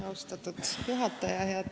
Austatud juhataja!